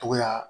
Togoya